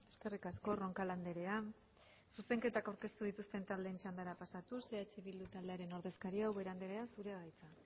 eskerrik asko roncal andrea zuzenketak aurkeztu dituzten taldeen txandara pasatuz eh bildu taldearen ordezkaria ubera andrea zurea da hitza